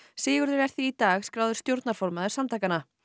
Sigurður er því í dag skráður stjórnarformaður samtakanna